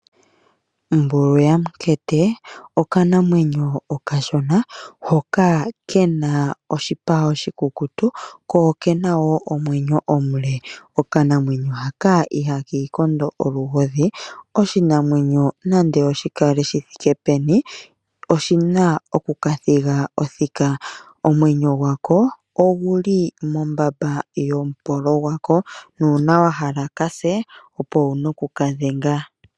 Mbulu yAmunkete okanamwenyo okashona hoka kena oshipa oshikukutu ko okena woo omwenyo omule. Okanamwenyo haka ihaka ikondo olugodhi oshinamwenyo nande shikale shithike peni oshina oku kathiga othika. Omwenyo gwako oguli mombamba yomupolo gwako, nuuna wahala ka se opo wuna oku kadhenga..